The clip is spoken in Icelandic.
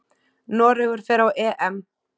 Noregur fer á EM.